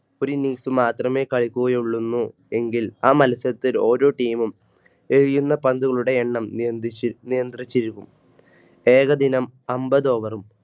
ഒരു Innings മാത്രമേ കളിക്കുകയുള്ളൂന്നൂ എങ്കിൽആ മത്സരത്തിൽ ഓരോ Team എഴയുന്ന പന്തുകളുടെ എണ്ണം നിയന്ത്രിച്ചിരിക്കും. ഏകദിനം അമ്പത് Over